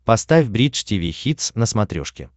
поставь бридж тиви хитс на смотрешке